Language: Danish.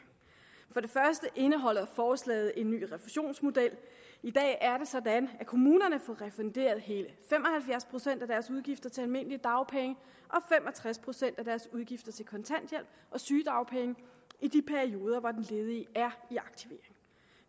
for det første indeholder forslaget en ny refusionsmodel i dag er det sådan at kommunerne får refunderet hele fem og halvfjerds procent af deres udgifter til almindelige dagpenge og fem og tres procent af deres udgifter til kontanthjælp og sygedagpenge i de perioder hvor den ledige er i aktivering